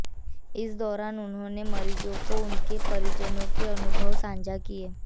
इस दौरान उन्होंने मरीजों और उनके परिजनों के अनुभव साझा किए